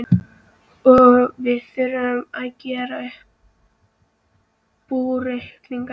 Og við þurfum að gera upp búreikningana!